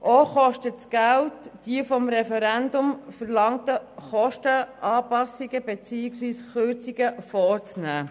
Auch kostet es Geld, die vom Referendum verlangten Kostenanpassungen beziehungsweise Kürzungen vorzunehmen.